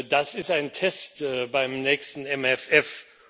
Das ist ein Test beim nächsten MFR.